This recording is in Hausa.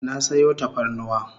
Na sayo tafarnuwa